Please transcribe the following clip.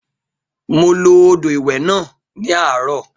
Mo lo odò ìwẹ̀ náà ní àárọ̀